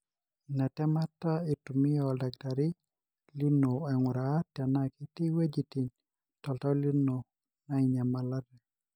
ina temata itumia oldakitari lino ainguraa tenaa ketii iweujitin toltau lino nainyialate.